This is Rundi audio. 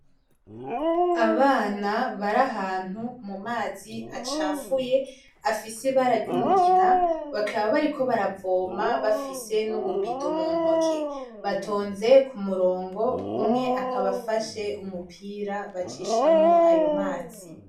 Abana bari ahantu mu mazi acafuye afise ibara ry'umugina bakaba kariko baravoma bafise n' ububido muntoke batonze ku murongo umwe akaba afashe umupira bacishamwo ayo mazi.